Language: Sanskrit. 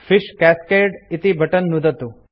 फिश कास्केड इति बटन नुदतु